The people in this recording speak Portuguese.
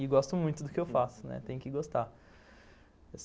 E gosto muito do que eu faço, tem que gostar.